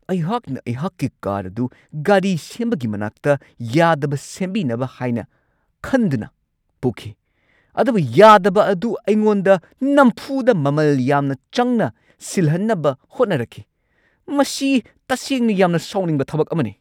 ꯑꯩꯍꯥꯛꯅ ꯑꯩꯍꯥꯛꯀꯤ ꯀꯥꯔ ꯑꯗꯨ ꯒꯥꯔꯤ ꯁꯦꯝꯕꯒꯤ ꯃꯅꯥꯛꯇ ꯌꯥꯗꯕ ꯁꯦꯝꯕꯤꯅꯕ ꯍꯥꯏꯅ ꯈꯟꯗꯨꯅ ꯄꯨꯈꯤ, ꯑꯗꯨꯕꯨ ꯌꯥꯗꯕ ꯑꯗꯨ ꯑꯩꯉꯣꯟꯗ ꯅꯝꯐꯨꯗ ꯃꯃꯜ ꯌꯥꯝꯅ ꯆꯪꯅ ꯁꯤꯜꯍꯟꯅꯕ ꯍꯣꯠꯅꯔꯛꯈꯤ ! ꯃꯁꯤ ꯇꯁꯦꯡꯅ ꯌꯥꯝꯅ ꯁꯥꯎꯅꯤꯡꯕ ꯊꯕꯛ ꯑꯃꯅꯤ ꯫